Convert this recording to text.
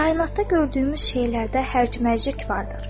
Kainatda gördüyümüz şeylərdə hərc-mərcilik vardır.